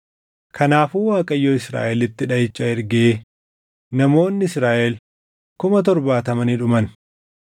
Kanaafuu Waaqayyo Israaʼelitti dhaʼicha ergee namoonni Israaʼel kuma torbaatama ni dhuman.